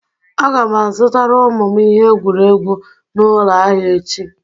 Aga m azụtara ụmụ m ihe egwuregwu n'ụlọ ahịa echi